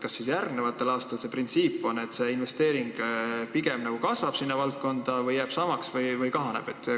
Kas printsiibi kohaselt järgmistel aastatel investeering sellesse valdkonda kasvab, jääb samaks või kahaneb?